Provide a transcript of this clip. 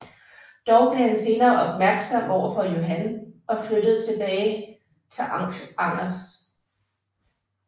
Dog blev han senere mistænksom over for Johan og flygtede tilbage til Angers